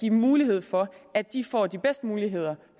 en mulighed for at de får de bedste muligheder